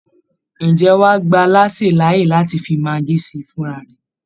Ǹjẹ́ wọ́n á gba alásè láàyè láti fi maggi sí i fúnra rẹ̀?